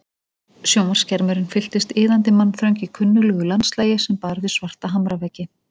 Sjónvarpsskermurinn fylltist iðandi mannþröng í kunnuglegu landslagi sem bar við svarta hamraveggi.